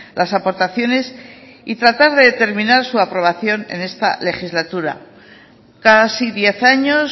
las aportaciones y tratar de determinar su aprobación en esta legislatura casi diez años